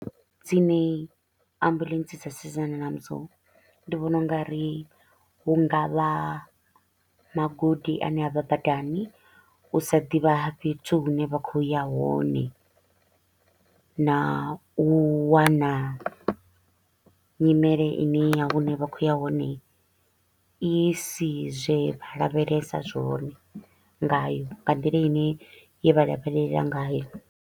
Dzine ambulance dza sedzana nadzo ndi vhona u nga ri hu nga vha magodi a ne avha badani, u sa ḓivha ha fhethu hune vha kho u ya hone na u wana nyimele i ne ya hune vha kho u ya hone i si zwe vha lavhelesa zwone ngayo nga nḓila i ne ye vha lavhelela ngayo.